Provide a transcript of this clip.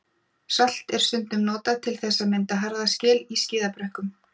Salt er stundum notað til þess að mynda harða skel í skíðabrekkum.